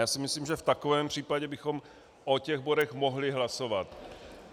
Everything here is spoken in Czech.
Já si myslím, že v takovém případě bychom o těch bodech mohli hlasovat.